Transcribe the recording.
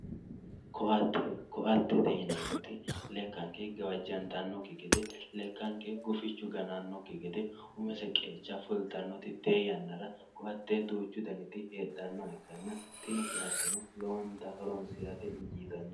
Ko`ate ko`atete yinemot lekanke gawajantanoki gede lekaanke gufichu gananoki gede umise qeecha fultanoti tee yanara ko`ate duuchu daniti hedhanoha ikanna tini ko`ateno lowonta horonsirate injitano.